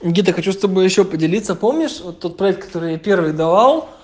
где-то хочу с тобой ещё поделиться помнишь тот проект который я первый давал